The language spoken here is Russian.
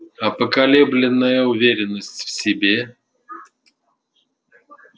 а поколебленная уверенность в себе